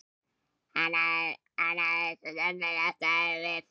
Það hafði hann svo sannarlega staðið við.